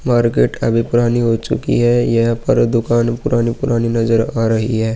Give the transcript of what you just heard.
Market अभी पुरानी हो चुकी है यहाँ पर दुकान पुरानी-पुरानी नज़र आ रही है।